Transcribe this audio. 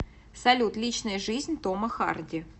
салют личная жизнь тома харди